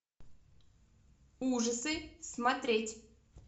ужасы смотреть